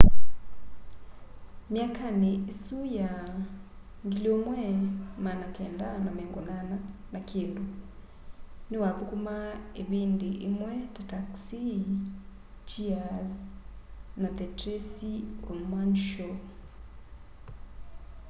myakani isu ya 1980 na kindu ni wathukumaa ivindi imwe ta taxi cheers na the tracy ullman show